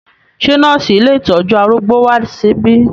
Ṣé nọ́ọ̀sì ilé ìtọ́jú arúgbó wá síbí?